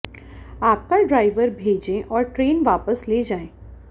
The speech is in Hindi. आपका ड्राइवर भेजें और ट्रेन वापस ले जाएँ